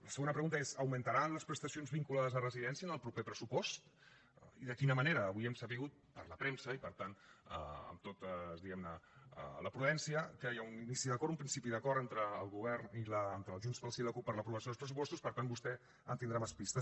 la segona pregunta és augmentaran les prestacions vinculades a residència en el proper pressupost i de quina manera avui hem sabut per la premsa i per tant amb tota diguem ne la prudència que hi ha un inici d’acord un principi d’acord entre el govern entre junts pel sí i la cup per a l’aprovació dels pressupostos per tant vostè en tindrà més pistes